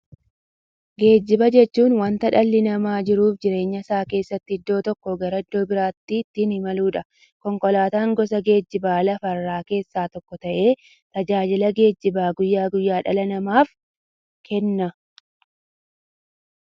Geejjiba jechuun wanta dhalli namaa jiruuf jireenya isaa keessatti iddoo tokkoo gara iddoo birootti ittiin imaluudha. Konkolaatan gosa geejjibaa lafarraa keessaa tokko ta'ee, tajaajila geejjibaa guyyaa guyyaan dhala namaaf kenna.